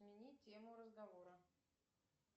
смени тему разговора